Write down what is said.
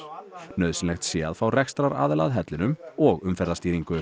nauðsynlegt sé að fá rekstraraðila að hellinum og umferðarstýringu